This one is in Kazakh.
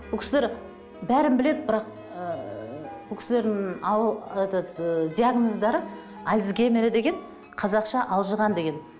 бұл кісілер бәрін біледі бірақ ыыы бұл кісілердің этот ы диагноздары альцгеймера деген қазақша алжыған деген